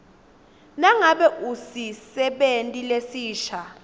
nangabe usisebenti lesisha